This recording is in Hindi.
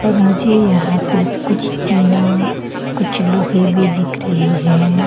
मुझे यहां पे कुछ टीना कुछ लोहे भी दिख रहे हैं।